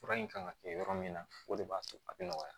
Fura in kan ka kɛ yɔrɔ min na o de b'a to a bɛ nɔgɔya